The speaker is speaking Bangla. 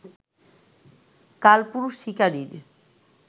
কালপুরুষ শিকারীর